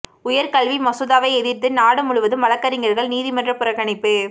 உயர் கல்வி மசோதாவை எதிர்த்து நாடு முழுவதும் வழக்கறிஞர்கள் நீதிமன்ற புறக்கணிப்பு